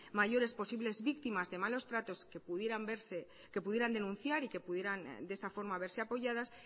mayores posibles víctimas de malos tratos que pudieran denunciar y que pudieran de esta forma verse apoyadas